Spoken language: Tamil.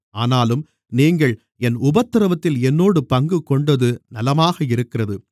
ஆனாலும் நீங்கள் என் உபத்திரவத்தில் என்னோடு பங்குகொண்டது நலமாக இருக்கிறது